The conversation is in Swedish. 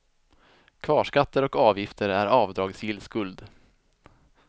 Kvarskatter och avgifter är avdragsgill skuld.